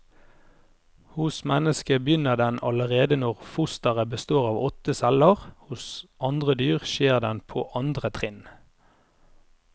Hos mennesket begynner den allerede når fosteret består av åtte celler, hos andre dyr skjer den på andre trinn.